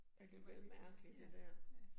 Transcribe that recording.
At det var alligevel mærkeligt det dér